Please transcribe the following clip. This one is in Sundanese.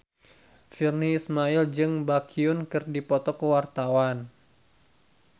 Virnie Ismail jeung Baekhyun keur dipoto ku wartawan